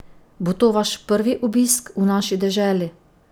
Bo to vaš prvi obisk v naši deželi?